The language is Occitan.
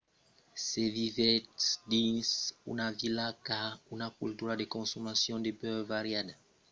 se vivètz dins una vila qu'a una cultura de consomacion de beure variada vos cal anar dins los bars o los pubs dins de barris que frequentatz pas